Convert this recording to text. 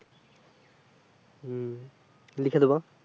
হম লিখে দোবো।